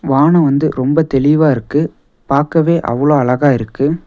வான வந்து ரொம்ப தெளிவா இருக்கு பாக்கவே அவ்ளோ அழகா இருக்கு.